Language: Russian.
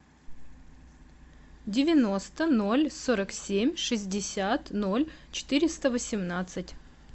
девяносто ноль сорок семь шестьдесят ноль четыреста восемнадцать